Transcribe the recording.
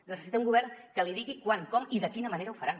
necessita un govern que li digui quan com i de quina manera ho faran